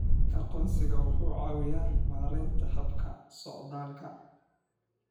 Aqoonsigu wuxuu caawiyaa maaraynta habka socdaalka.